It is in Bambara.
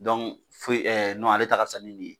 Dɔnku foyi ɛɛ nɔn ale ta ka fisa ni nin ye